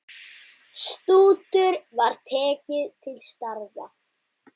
Stútur var tekið til starfa!